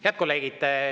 Head kolleegid!